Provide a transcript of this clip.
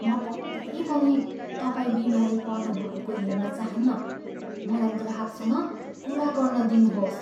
म पक्कै पनि तपाईँ बिमारी पर्नुभएको हेर्न चाहन्नँ। मलाई ग्राहकसँग कुरा गर्न दिनुहोस्।